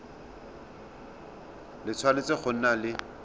le tshwanetse go nna le